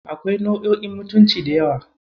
Akwai nau'o'in mutunci da yawa.